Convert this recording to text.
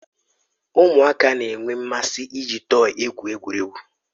Ụmụaka na-enwe mmasị iji tọyi egwu egwuregwu.